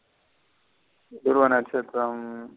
துருவ நட்சத்திரம்.